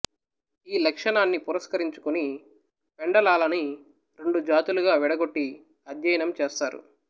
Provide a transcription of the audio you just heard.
ఈ లక్షణాన్ని పురస్కరించుకుని పెండలాలని రెండు జాతులుగా విడగొట్టి అధ్యయనం చేస్తారు